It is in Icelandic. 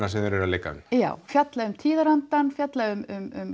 sem þeir eru að leika já fjalla um tíðarandann fjalla um